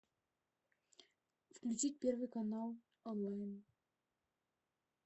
включить первый канал онлайн